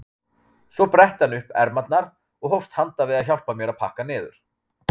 Svo bretti hann upp ermarnar og hófst handa við að hjálpa mér að pakka niður.